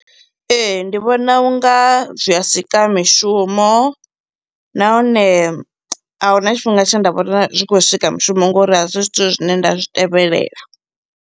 Ee, ndi vhona unga zwi a sika mishumo nahone ahuna tshifhinga tshe nda vhona zwi khou swika mushumo ngori a zwi zwithu zwine nda zwi tevhelela.